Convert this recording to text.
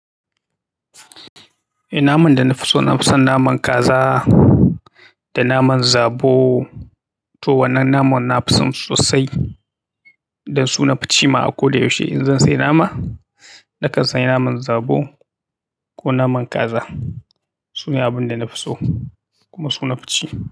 Eh naman da na fi so na fi son naman kaza da naman zabo. To wannan naman na fison su sosai dan su na fi ci ma a ko da yaushe. In zan sayi nama, nakan sayi naman zabo ko naman kaza. Sune abunda nafi so kuma su nafi ci.